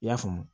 I y'a faamu